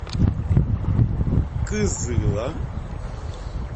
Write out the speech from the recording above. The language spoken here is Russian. кызыла